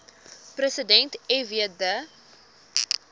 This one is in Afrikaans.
president fw de